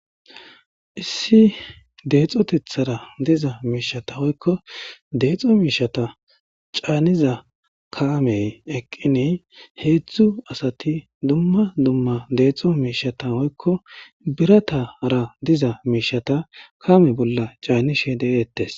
Issi deexotethara diza miishata woykko deexo miishata caaniza kaamey eqqinii heedzdzu asati dumma dumma deexo miishshata woykko biratara diza miishshata kaame bolla caanishe deeettes